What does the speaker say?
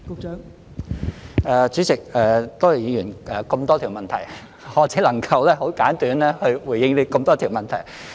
代理主席，多謝議員這麼多條問題，我只能夠很簡短地回應這麼多條問題。